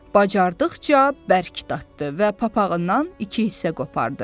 Bacardıqca bərk dartdı və papağından iki hissə qopardı.